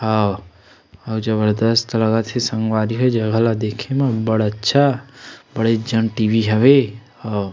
अऊ जबरदस्त लगत हे संगवारी हो ए जगह ल देखे म बड़ अच्छा बडेज जान टी वी हवे औ --